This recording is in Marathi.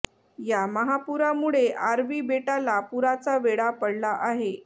या महापुरामुळे आर्वी बेटाला पुराचा वेढा पडला आहे